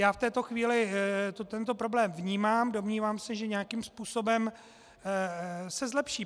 Já v této chvíli tento problém vnímám, domnívám se, že nějakým způsobem se zlepší.